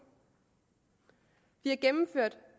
vi har gennemført